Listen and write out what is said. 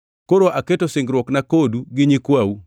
“Koro aketo singruokna kodu gi nyikwau,